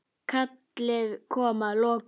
Kallið kom að lokum.